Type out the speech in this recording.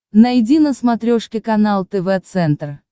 найди на смотрешке канал тв центр